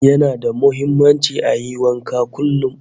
Yana da muhimmanci ayi wanka kullum